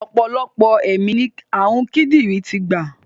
Ọ̀pọ̀lọpọ̀ ẹ̀mí ni ààrùn kídìrín ti gbà.